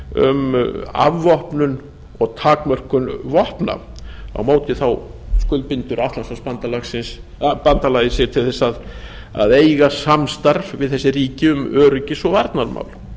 um afvopnun og takmörkun vopna á móti skuldbindur atlantshafsbandalagið sig til þess að eiga samstarf við þessi ríki um öryggis og varnarmál